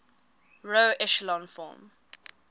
row echelon form